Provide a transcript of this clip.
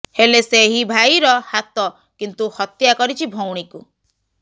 ହେଲେ ସେହି ଭାଇର ହାତ କିନ୍ତୁ ହତ୍ୟା କରିଛି ଭଉଣୀକୁ